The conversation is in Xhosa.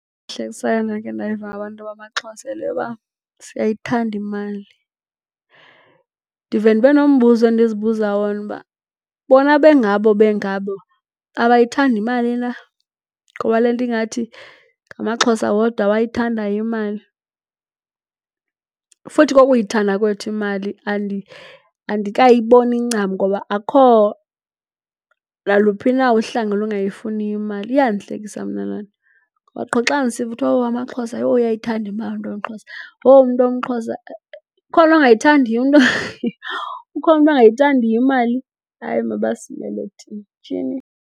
endakhe ndayiva ngabantu bamaXhosa yile yokuba siyayithanda imali. Ndivele ndibe nombuzo endizibuza wona uba bona bengabo bengabo abayithandi imali na? Ngoba le nto ingathi ngamaXhosa wodwa awayithandayo imali. Futhi ke ukuyithanda kwethu imali andikayiboni ncam ngoba akukho naluphi na uhlanga olungayifuniyo imali. Iyandihlekisa mna loo nto. Ngoba qho xa ndisiva kuthwa, oh, amaXhosa yho uyayithanda imali umntu womXhosa. Yho umntu womXhosa. Ukhona umntu ongayithandiyo imali? Hayi, mabasimele thina, tshini.